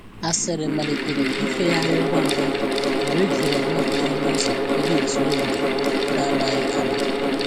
Asịrị malitere ifeyari ngwa ngwa mgbe e jidere mmadụ n’ọnụ ụzọ ebe ntụrụndụ, n’amaghị ama.